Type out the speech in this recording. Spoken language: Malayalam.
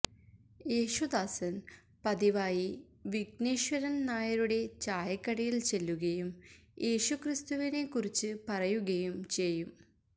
യേശുദാസന് പതിവായി വിഘ്നേശ്വരന് നായരുടെ ചായക്കടയില് ചെല്ലുകയും യേശുക്രിസ്തുവിനെ കുറിച്ച് പറയുകയും ചെയ്യും